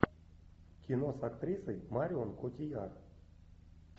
кино с актрисой марион котийяр